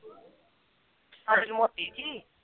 ਮੋਟੀ ਜੀ